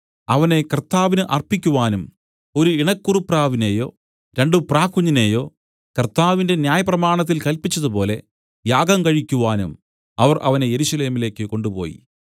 അവനെ കർത്താവിന് അർപ്പിക്കുവാനും ഒരു ഇണ കുറുപ്രാവിനെയോ രണ്ടു പ്രാക്കുഞ്ഞിനെയോ കർത്താവിന്റെ ന്യായപ്രമാണത്തിൽ കല്പിച്ചതുപോലെ യാഗം കഴിക്കുവാനും അവർ അവനെ യെരൂശലേമിലേക്കു കൊണ്ടുപോയി